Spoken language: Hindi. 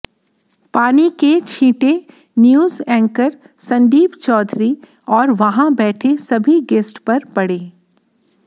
पानी के छीटें न्यूज एंकर संदीप चौधरी और वहां बैठे सभी गेस्ट पर पड़े